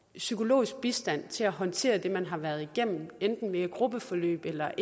psykologisk bistand til at håndtere det man har været igennem enten via et gruppeforløb eller